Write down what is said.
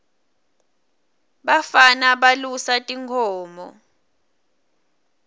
bafana balusa tinkhomo